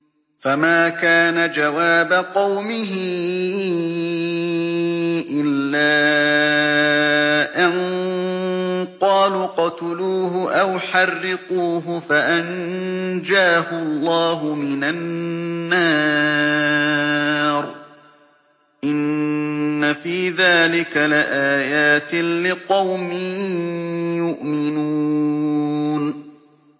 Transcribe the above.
فَمَا كَانَ جَوَابَ قَوْمِهِ إِلَّا أَن قَالُوا اقْتُلُوهُ أَوْ حَرِّقُوهُ فَأَنجَاهُ اللَّهُ مِنَ النَّارِ ۚ إِنَّ فِي ذَٰلِكَ لَآيَاتٍ لِّقَوْمٍ يُؤْمِنُونَ